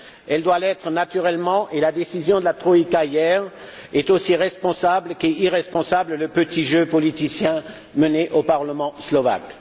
Solidaire, elle doit l'être naturellement et la décision prise par la troïka hier est aussi responsable qu'est irresponsable le petit jeu politicien mené au Parlement slovaque.